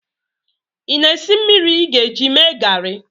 ị na-esi mmiri ị ga-eji mee garị